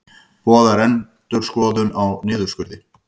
Boðar endurskoðun á niðurskurði